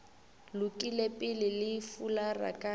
lokile pele le fulara ka